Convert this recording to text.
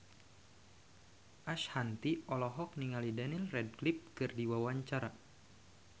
Ashanti olohok ningali Daniel Radcliffe keur diwawancara